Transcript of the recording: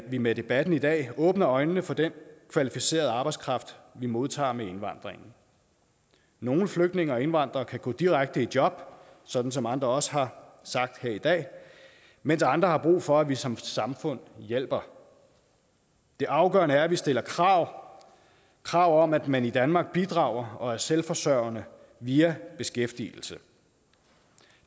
vi med debatten i dag åbner øjnene for den kvalificerede arbejdskraft vi modtager med indvandringen nogle flygtninge og indvandrere kan gå direkte i job sådan som andre også har sagt her i dag mens andre har brug for at vi som samfund hjælper det afgørende er at vi stiller krav krav om at man i danmark bidrager og er selvforsørgende via beskæftigelse